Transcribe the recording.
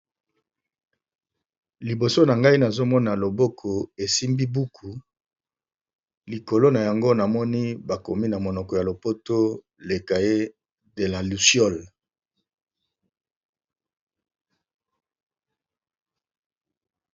Liboso na ngai nazomona loboko esimbi buku likolo na yango namoni bakomi na monoko ya lopoto le cahier de la lusiol.